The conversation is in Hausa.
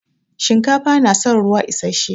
Shinkafa na san ruwa isashe.